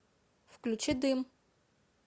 включи дым